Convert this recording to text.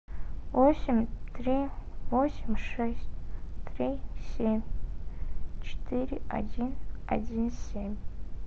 восемь три восемь шесть три семь четыре один один семь